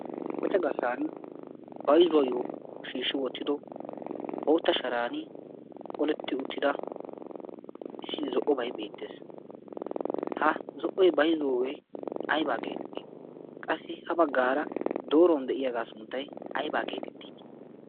qoca garssan baizuwaayyo shiishshi woottido ootta sharan qoletti uttida issi zo''obai beettees ha zo''oy bayzuwoogee aibaa geeeettii qassi ha baggaara dooruwn de'iyaagaa sunttay aybaa geexettii